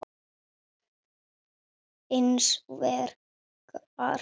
Hins vegar